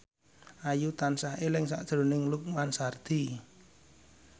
Ayu tansah eling sakjroning Lukman Sardi